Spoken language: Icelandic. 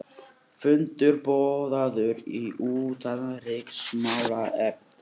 Fundur boðaður í utanríkismálanefnd